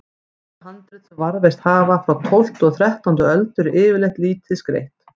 Elstu handrit sem varðveist hafa, frá tólftu og þrettándu öld, eru yfirleitt lítið skreytt.